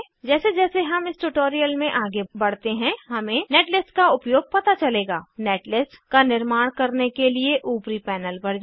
जैसे जैसे हम इस ट्यूटोरियल में आगे बढ़ते हैं हमें नेटलिस्ट का उपयोग पता चलेगा नेटलिस्ट का निर्माण करने के लिए ऊपरी पैनल पर जाएँ